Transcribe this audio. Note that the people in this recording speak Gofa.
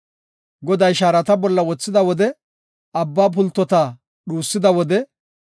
Goday shaarata bollara wothida wode, abba pultota dhuusida wode,